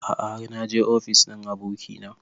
A'a har naje ofis ɗin abokina